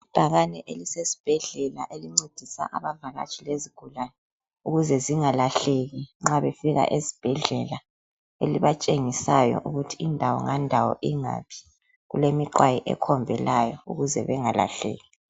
Ibhakani elisesibhedlela elincedisa abavakatshi lezigulani, ukuze zingalahleki nxabe fika esibhedlela, elibatshengisayo ukuthi indawo ngandawo ingaphi, kulemiqwayi ekhombelayo ukuze bengalahleki.